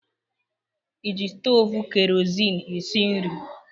Ị ji stovu kerozin esi nri?